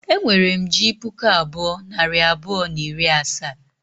E nwere m ji puku abụọ, nari abụọ, na iri asaa